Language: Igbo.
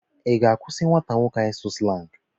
Ị ga-akwụsị nwata nwoke ahụ ịsụ slangị?